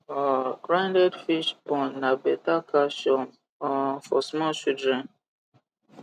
um grinded fish born na beta calcium um for small children